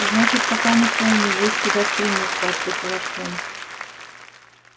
значит пока не полный есть куда стремиться ответил артем